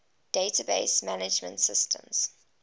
database management systems